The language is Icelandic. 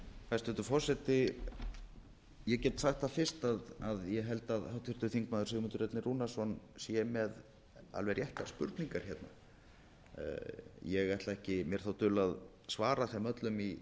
hæstvirtur forseti ég get sagt það fyrst að ég held að háttvirtur þingmaður sigmundur ernir rúnarsson sé með alveg réttar spurningar hérna ég ætla ekki mér þá dul að svara þeim öllum í